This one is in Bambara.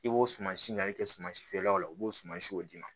I b'o suma si ɲan kɛ suman si feerelaw la u b'o suma siw d'i ma